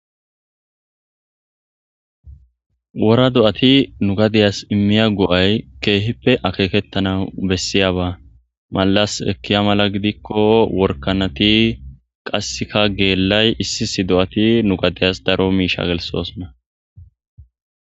Worra do77atti n emmiyygo77ay kehippe akeketanaw bessiyabba mallas ekiabba giddikko worrakanatti gellatti nubittas darro birra gelsees.